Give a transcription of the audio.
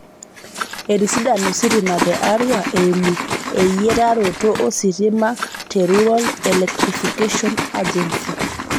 Etisidana ositima te Arua eimu eyiataroto ositima te Rural electrification agency